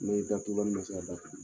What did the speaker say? Ni datugulanni man se ka datugu.